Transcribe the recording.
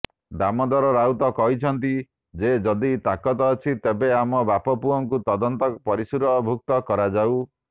ଦାମୋଦର ରାଉତ କହିଛନ୍ତି ଯେ ଯଦି ତାକତ ଅଛି ତେବେ ଆମ ବାପ ପୁଅଙ୍କୁ ତଦନ୍ତ ପରିସରଭୁକ୍ତ କରାଯାଉ